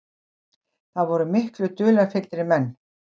Það voru miklu dularfyllri menn.